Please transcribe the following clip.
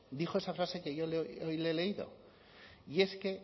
dijo esa frase que yo hoy le he leído y es que